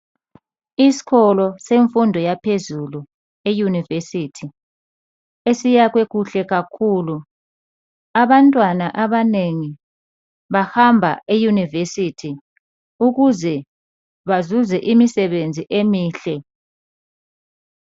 Isikolo semfundo yaphezulu eUniversity esiyakhwe kuhle kakhulu . Abantwana abanengi bahamba eUniversity ukuze bazuze imisebenzi emihle.